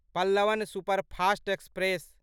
Pallavan superfast express